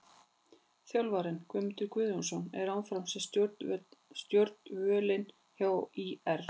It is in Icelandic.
Þjálfarinn: Guðmundur Guðjónsson er áfram við stjórnvölinn hjá ÍR.